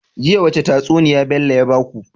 Jiya wace tatsuniya Bello ya baku?